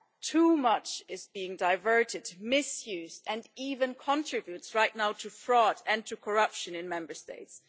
Too much is being diverted, misused, and even contributes right now to fraud and to corruption in Member States.